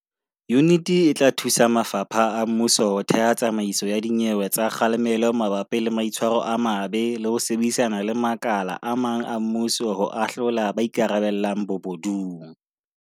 Yuniti e tla thusa mafapha a mmuso ho theha tsamaiso ya dinyewe tsa kga lemelo mabapi le maitshwaro a mabe le ho sebedisana le makala a mang a mmuso ho ahlola ba ikarabellang bobo dung.